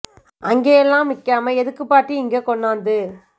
அங்கையெல்லாம் நிக்காம எதுக்குப் பாட்டி இங்க கொண்ணாந்து